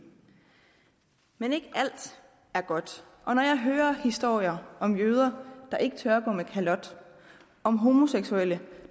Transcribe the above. men ikke alt er godt og når jeg hører historier om jøder der ikke tør gå med kalot om homoseksuelle